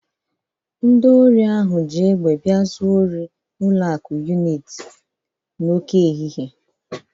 Ndị ori ahụ ji egbe bia zuo ori n'ụlọ akụ Uniti n'oke ehihie.